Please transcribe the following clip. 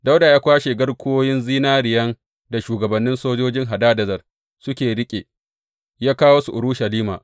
Dawuda ya kwashe garkuwoyin zinariyan da shugabannin sojojin Hadadezer suke riƙe, ya kawo su Urushalima.